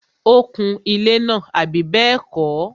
ó kun ilẹ́ náà, àbí bẹ́ẹ̀kọ́?